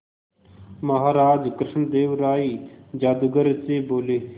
महाराज कृष्णदेव राय जादूगर से बोले